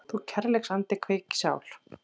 Þú kærleiksandi kveik í sál